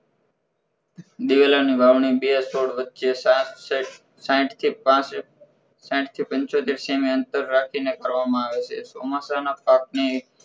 દિવેલાની વાવણી બે છોડ વચે સાત સેડ સાહિટ થી પાસેટ સાહિટ થી પંચોતેર સેમી અંતર રાખી ને કરવામાં આવે છે ચોમાસા ના પાકને